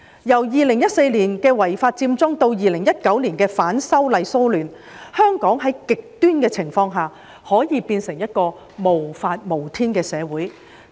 由2014年的違法佔中至2019年的反修例騷亂，香港在極端情況下可以變成一個無法無天的社會。